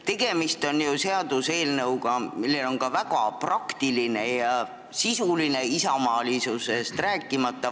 Tegemist on seaduseelnõuga, millel on ka väga praktiline ja sisuline väärtus, isamaalisusest rääkimata.